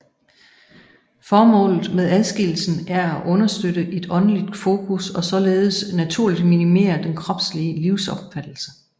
Formålet med adskillelsen er at understøtte et åndeligt fokus og således naturligt minimere den kropslige livsopfattelse